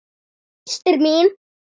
Systir mín.